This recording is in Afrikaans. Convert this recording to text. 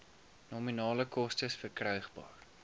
nominale koste verkrygbaar